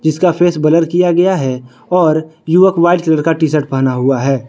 इसका face blur किया गया है और युवक वाइट कलर का टी शर्ट पहना हुआ है।